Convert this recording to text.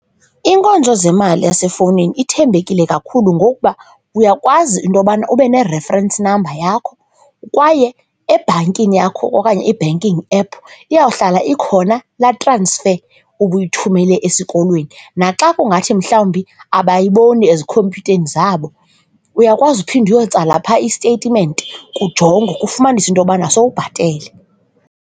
Iinkonzo zemali yaesefowunini ithembekile kakhulu ngokuba uyakwazi into yobana ube ne-reference number yakho kwaye ebhankini yakho okanye i-banking app iyawuhlala ikhona laa transfer ubuyithumele esikolweni naxa kungathi mhlawumbi abayiboni ezikhompyutheni zabo uyakwazi uphinda uyostala phaa istetimenti kujongwe kufumanise into yobana sowubhatele.